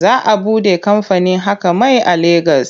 Za a buɗe kamfanin haƙar mai a Legas.